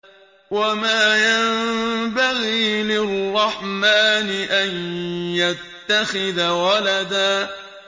وَمَا يَنبَغِي لِلرَّحْمَٰنِ أَن يَتَّخِذَ وَلَدًا